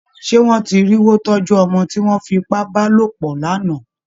Ṣé wọ́n ti rí wó tọ́jú ọmọ tí wọ́n fi ipá bá lòpọ̀ lánàá?